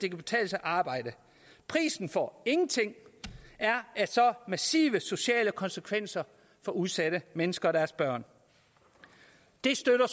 arbejde prisen for ingenting er massive sociale konsekvenser for udsatte mennesker og deres børn det støtter